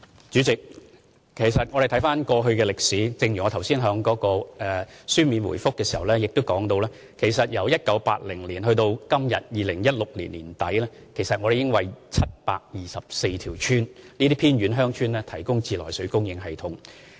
主席，回看歷史，正如我剛才在主體答覆中亦提到，其實由1980年至2016年年底，我們已為724條偏遠鄉村提供自來水供應系統。